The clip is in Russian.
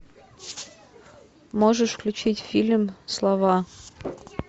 можешь включить фильм слова